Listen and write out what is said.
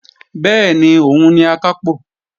Bẹ́ẹ̀ni, òun ni Akápò